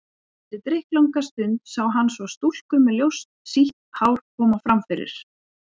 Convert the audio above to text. Eftir drykklanga stund sá hann svo stúlku með ljóst, sítt hár koma fram fyrir.